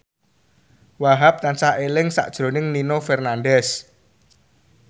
Wahhab tansah eling sakjroning Nino Fernandez